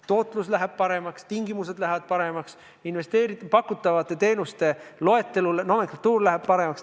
Tootlus läheb paremaks, tingimused lähevad paremaks, pakutavate teenuste loetelu, nomenklatuur, läheb paremaks.